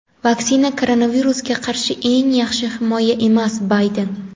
Vaksina koronavirusga qarshi eng yaxshi himoya emas – Bayden.